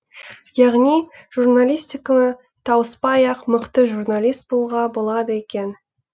яғни журналистиканы тауыспай ақ мықты журналист болуға болады екен